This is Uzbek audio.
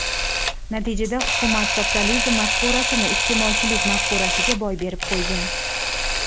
Natijada hukumat sotsializm mafkurasini iste’molchilik mafkurasiga boy berib qo‘ygan.